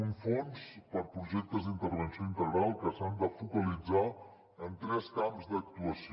un fons per a projectes d’intervenció integral que s’han de focalitzar en tres camps d’actuació